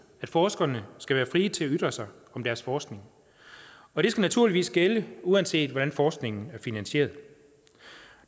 at forskerne skal være fri til at ytre sig om deres forskning og det skal naturligvis gælde uanset hvordan forskningen er finansieret